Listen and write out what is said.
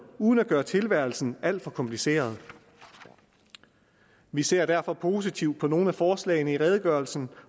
uden at gøre tilværelsen alt for kompliceret vi ser derfor positivt på nogle af forslagene i redegørelsen